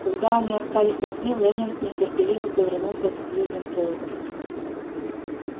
когда они остались одни лэннинг нетерпеливо повернулся к сьюзен кэлвин